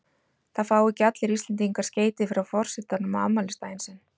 Það fá ekki allir Íslendingar skeyti frá forsetanum á afmælisdaginn sinn.